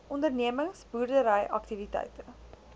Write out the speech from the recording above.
ondernemings boerdery aktiwiteite